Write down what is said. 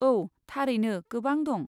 औ, थारैनो गोबां दं।